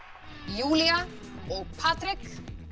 Júlía og Patrek